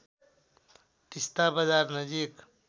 तिस्‍ता बजार नजिक